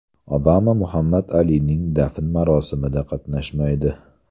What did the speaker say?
Obama Muhammad Alining dafn marosimida qatnashmaydi.